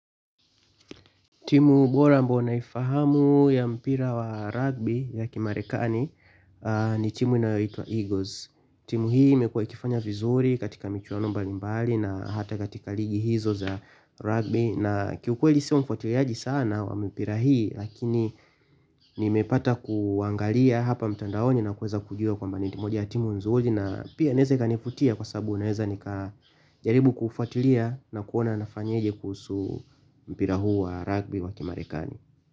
Timu bora ambao naifahamu ya mpira wa rugby ya kimarekani ni timu inayoitwa. Eagles. Timu hii imekua ikifanya vizuri katika michuano mbali mbali na hata katika ligi hizo za rugby. Na ki ukweli siyo mfuatiliaji sana wa mpira hii. Lakini nimepata kuangalia hapa mtandaoni na kuweza kujua kwamba ni kati ya timu nzuri na pia inaeza ikanivutia kwa sababu naeze nika jaribu ku ufuatilia na kuona nafanyeje kuhusu mpira huu wa rugby wa kimarekani.